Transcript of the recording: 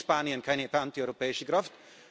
Warum kennt Spanien keine antieuropäische Kraft?